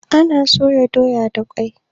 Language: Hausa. Ana soya doya da kwai.